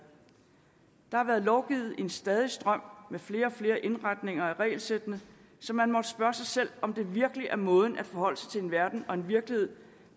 der har været lovgivet i en stadig strøm med flere og flere indretninger af regelsættene så man måtte spørge sig selv om det virkelig er måden at forholde sig til en verden og en virkelighed